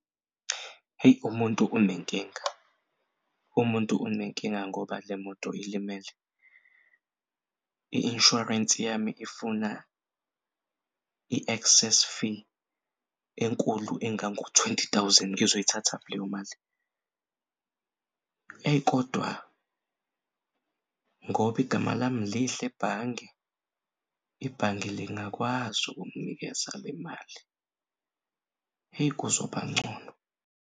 Hheyi umuntu unenkinga, umuntu unenkinga ngoba lemoto ilimele. I-insurance yami ifuna i-access fee enkulu engango-twenty thousand, ngizoyithathaphi leyo mali. Eyi kodwa ngoba igama lami lihle ebhange, ibhange lingakwazi ukunginikeza lemali, eyi kuzobancono.